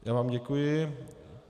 Já vám děkuji.